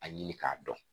A ɲini k'a dɔn